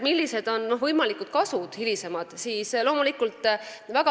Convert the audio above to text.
Millised on võimalikud hilisemad kasud?